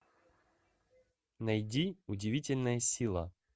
найди удивительная сила